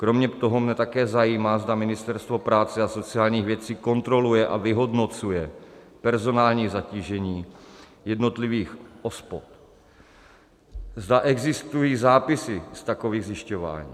Kromě toho mě také zajímá, zda Ministerstvo práce a sociálních věcí kontroluje a vyhodnocuje personální zatížení jednotlivých OSPODů, zda existují zápisy z takových zjišťování.